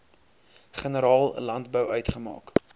generaal landbou uitgemaak